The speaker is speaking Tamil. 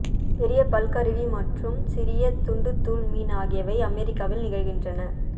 பெரிய பல் கருவி மற்றும் சிறிய துண்டுத்தூள் மீன் ஆகியவை அமெரிக்காவில் நிகழ்கின்றன